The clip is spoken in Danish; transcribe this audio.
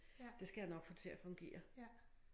Det skal jeg nok få til at fungere